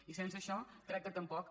i sense això crec que tampoc